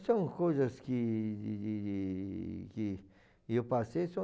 São coisas que... que eu passei, são